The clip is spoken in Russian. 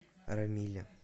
рамиле